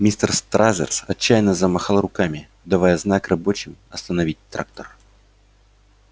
мистер стразерс отчаянно замахал руками давая знак рабочим остановить трактор